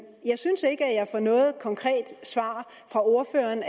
jeg synes ikke at jeg får noget konkret svar fra ordføreren